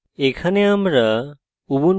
এখানে আমরা